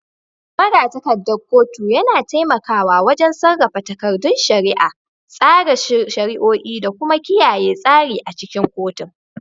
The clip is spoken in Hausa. Magatakardar kotu yana taimakawa wajen sarrafa takardun shari'a, tsara shari'o'i, da kuma kiyaye tsari a cikin kotun.